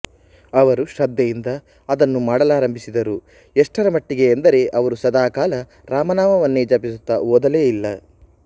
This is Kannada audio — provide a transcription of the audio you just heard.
ಅವರು ಶ್ರದ್ಧೆಯಿಂದ ಅದನ್ನು ಮಾಡಲಾರಂಭಿಸಿದರು ಎಷ್ಟರ ಮಟ್ಟಿಗೆ ಎಂದರೆ ಅವರು ಸದಾ ಕಾಲ ರಾಮನಾಮವನ್ನೇ ಜಪಿಸುತ್ತಾ ಓದಲೇ ಇಲ್ಲ